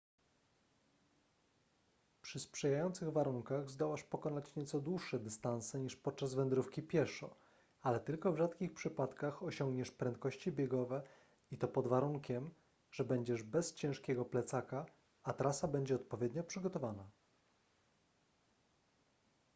przy sprzyjających warunkach zdołasz pokonać nieco dłuższe dystanse niż podczas wędrówki pieszo ale tylko w rzadkich przypadkach osiągniesz prędkości biegowe i to pod warunkiem że będziesz bez ciężkiego plecaka a trasa będzie odpowiednio przygotowana